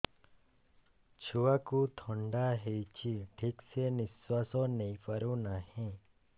ଛୁଆକୁ ଥଣ୍ଡା ହେଇଛି ଠିକ ସେ ନିଶ୍ୱାସ ନେଇ ପାରୁ ନାହିଁ